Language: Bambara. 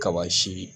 Kaba si